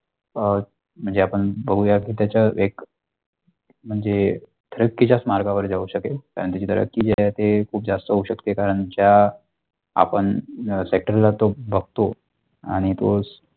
अ म्हणजे आपण बघूया त्याच्या एक म्हणजे तरक्की चा मार्गावर होऊ शकल आणि जर तरक्की जे असेल ते खूप जास्त होऊ शकते कारण ज्या आपण sector ला तो बगतो आणि तो.